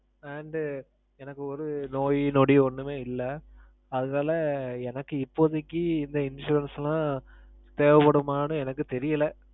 and எனக்கு ஒரு நோய் நொடி ஒன்னும் இல்ல. அதனால எனக்கு இப்போதைக்கு இந்த insurance எல்லாம் தேவ படுமான்னு எனக்கு தெரியல.